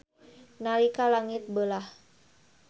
Nalika langit beulah.